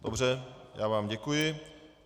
Dobře, já vám děkuji.